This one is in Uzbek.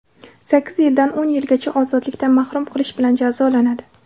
sakkiz yildan o‘n yilgacha ozodlikdan mahrum qilish bilan jazolanadi.